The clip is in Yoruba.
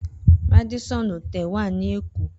Radisson Hotel wa ni Eko